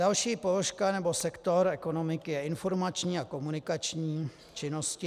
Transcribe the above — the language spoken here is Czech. Další položka nebo sektor ekonomiky je informační a komunikační činnosti.